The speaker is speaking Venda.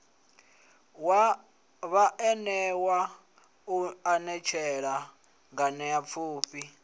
wa vhaanewa u anetshela nganeapfhufhi